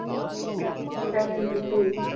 sevenety two